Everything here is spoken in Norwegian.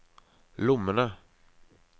lommene